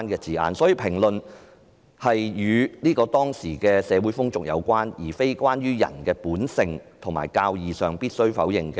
所以，他所評論的可能是當時的社會風俗，而並非關於在人的本性和教義中必要否定的"罪"。